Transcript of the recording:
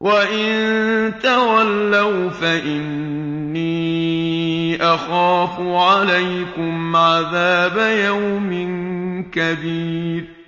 وَإِن تَوَلَّوْا فَإِنِّي أَخَافُ عَلَيْكُمْ عَذَابَ يَوْمٍ كَبِيرٍ